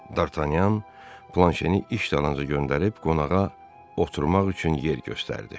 Dartanyan Planşeni iş dalınca göndərib qonağa oturmaq üçün yer göstərdi.